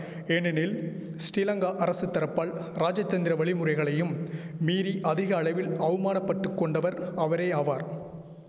ஏனெனில் ஸ்ரீலங்கா அரசுதரப்பால் ராஜதந்திர வழிமுறைகளையும் மீறி அதிக அளவில் அவ்மானபட்டுக் கொண்டவர் அவரே ஆவார்